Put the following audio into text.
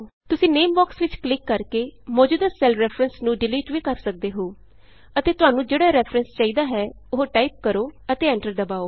ਤੁਸੀਂ name box ਵਿਚ click ਕਰ ਕੇ ਮੌਜੂਦਾ ਸੈੱਲ ਰੈਫਰੈਂਸ ਨੂੰ ਡਿਲੀਟ ਵੀ ਕਰ ਸਕਦੇ ਹੋ ਅਤੇ ਤੁਹਾਨੂੰ ਜਿਹੜਾ ਰੈਫਰੈਂਸ ਚਾਹੀਦਾ ਹੈ ਉਹ ਟਾਈਪ ਕਰੋ ਅਤੇ ਐਂਟਰ ਦਬਾਉ